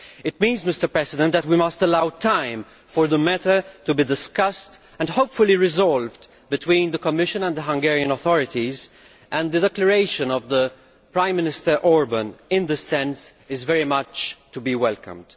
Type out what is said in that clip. This means that we must allow time for the matter to be discussed, and hopefully resolved, between the Commission and the Hungarian authorities, and the declaration of Prime Minister Orbán in this sense is very much to be welcomed.